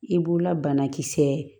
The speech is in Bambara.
I b'ola banakisɛ